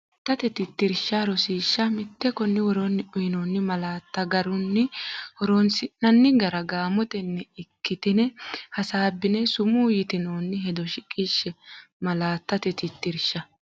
Malaattate Tittirsha Rosiishsha Mite Konni woroonni uyinoonni malaatta garunni horoonsi’nanni gara gaamotenni ikkitine hasaabbine sumuu yitinoonni hedo shiqishshe Malaattate Tittirsha.